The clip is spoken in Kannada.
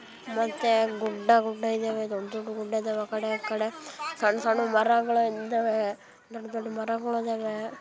ಮತ್ತೆ ಗುಡ್ಡ ಗುಡ್ಡ ಇದಾವೆ ದೊಡ್ಡ ದೊಡ್ಡ ಗುಡ್ಡ ಇದಾವೆ ಆಕಡೆ ಇಕಡೇ ಸಣ್ಣ್ ಸಣ್ಣ್ ಮರಗಳ್ ಇದಾವೆ ದೊಡ್ಡ ದೊಡ್ಡ ಮರಗೋಳ ಅದಾವೆ.